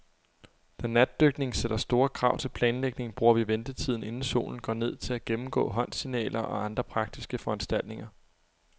Da natdykning sætter store krav til planlægning, bruger vi ventetiden, inden solen går ned, til at gennemgå håndsignaler og andre praktiske foranstaltninger.